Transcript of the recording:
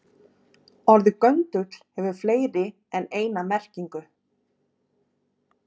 Orðið göndull hefur fleiri en eina merkingu.